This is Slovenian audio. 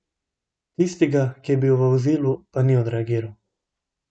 Tistega, ki je bil v vozilu, pa ni odreagiral?